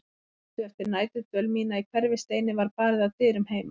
Stuttu eftir næturdvöl mína í Hverfisteini var barið að dyrum heima.